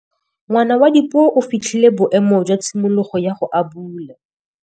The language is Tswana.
Ngwana wa Dipuo o fitlhile boêmô jwa tshimologô ya go abula.